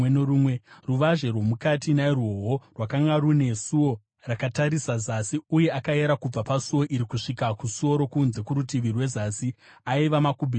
Ruvazhe rwomukati nairwowo rwakanga rune suo rakatarisa zasi, uye akayera kubva pasuo iri kusvika kusuo rokunze kurutivi rwezasi; aiva makubhiti zana.